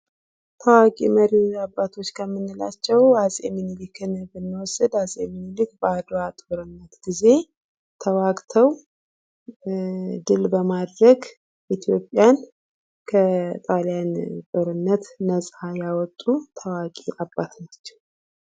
ታዋቂ መሪዎች አባቶች ከምንላቸው አፄ ሚኒሊክን ብንወስድ አጼ ሚኒሊክ በአድዋ ጦርነት ጊዜ ተዋግተው ድል በማድረግ ኢትዮጵያን ከጣሊያን ጦርነት ነጻ የወጡ ተዋጊ አባት ናቸው ::